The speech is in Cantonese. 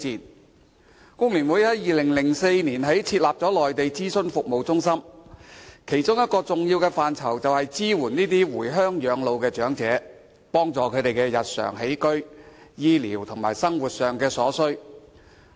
香港工會聯合會在2004年設立的工聯會內地諮詢服務中心，其工作的一個重要範疇，便是支援這些回鄉養老的長者，協助他們的日常起居、醫療及生活所需。